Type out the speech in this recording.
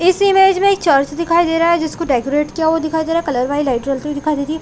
इस इमेज में एक चर्च दिखाई दे रहा है जिसको डेकोरेट किया हुआ दिखाई दे रहा है कलर वाये लाइट जलती हुई दिखाई दे रही है।